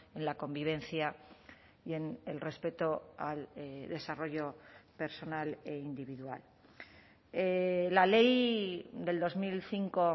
en la convivencia y en el respeto al desarrollo personal e individual la ley del dos mil cinco